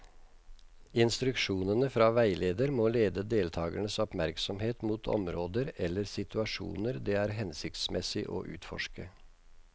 Instruksjonene fra veileder må lede deltakernes oppmerksomhet mot områder eller situasjoner det er hensiktsmessig å utforske.